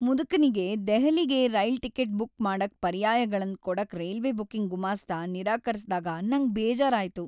ಮುದ್ಕನಿಗೆ ದೆಹಲಿಗೆ rail ticket book ಮಾಡಕ್ ಪರ್ಯಾಯಗಳನ್ ಕೊಡಕ್ ರೈಲ್ವೆ ಬುಕಿಂಗ್ ಗುಮಾಸ್ತ ನಿರಾಕರಿಸ್ದಾಗ ನಂಗ್ ಬೇಜಾರಾಯ್ತು.